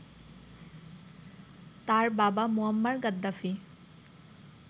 তার বাবা Muammar Gaddafi